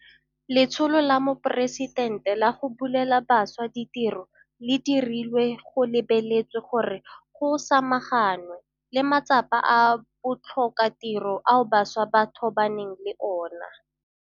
Letsholo la Moporesitente la go Bulela Bašwa Ditiro le dirilwe go lebeletswe gore go samaganwe le matsapa a botlhokatiro ao bašwa ba tobaneng le ona.